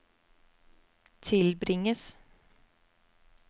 tilbringes